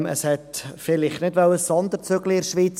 Es wollte vielleicht in der Schweiz keinen Sonderzug fahren.